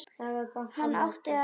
Hann átti að heita Skundi.